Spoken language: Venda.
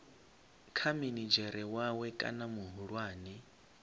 kha minidzhere wawe kana muhulwane